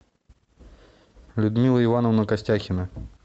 людмила ивановна костяхина